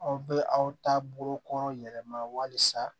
Aw bɛ aw ta bolo kɔrɔ yɛlɛma walisa